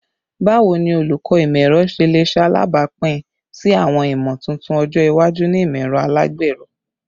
Bawo ni Olukọ Imọ-ẹrọ ṣe le ṣe alabapin si awọn imotuntun ọjọ iwaju ni imọ-ẹrọ alagbero?